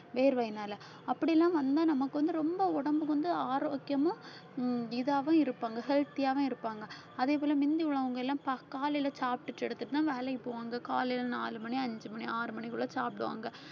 வேர்வையினால அப்படி எல்லாம் வந்தா நமக்கு வந்து ரொம்ப உடம்புக்கு வந்து ஆரோக்கியமும் ஹம் இதாவும் இருப்பாங்க healthy ஆவும் இருப்பாங்க அதே போல முந்தி உள்ளவங்க எல்லாம் ப~ காலையில சாப்பிட்டுட்டு எடுத்துட்டுதான் வேலைக்கு போவாங்க காலையில நாலு மணி அஞ்சு மணி ஆறு மணிக்குள்ள சாப்பிடுவாங்க காலையில சாப்பாடு